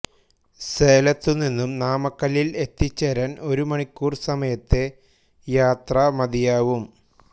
സേലത്തു നിന്നും നാമക്കല്ലിൽ എത്തിച്ചേരാൻ ഒരുമണിക്കൂർ സമയത്തെ യാത്ര മതിയാവും